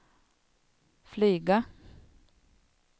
flyga